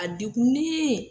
A dekunnen .